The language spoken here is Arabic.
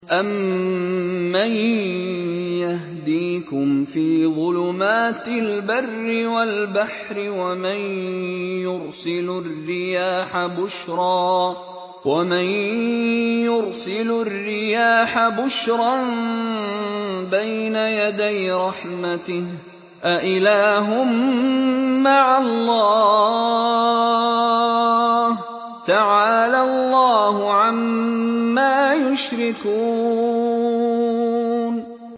أَمَّن يَهْدِيكُمْ فِي ظُلُمَاتِ الْبَرِّ وَالْبَحْرِ وَمَن يُرْسِلُ الرِّيَاحَ بُشْرًا بَيْنَ يَدَيْ رَحْمَتِهِ ۗ أَإِلَٰهٌ مَّعَ اللَّهِ ۚ تَعَالَى اللَّهُ عَمَّا يُشْرِكُونَ